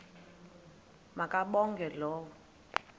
ma kabongwe low